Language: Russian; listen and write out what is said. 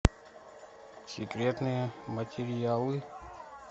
секретные материалы